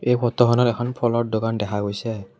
এই ফটো খনত এখন ফলৰ দোকান দেখা গৈছে।